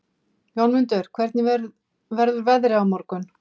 Jómundur, hvernig verður veðrið á morgun?